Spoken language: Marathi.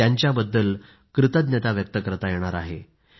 त्यांच्याबद्दल कृतज्ञता व्यक्त करता येणार आहे